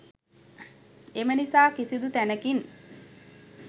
එම නිසා කිසිදු තැනකින්